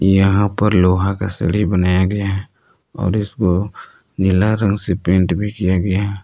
यहां पर लोहा का सीढ़ी बनाया गया है और इसको नीला रंग से पेंट भी किया गया है।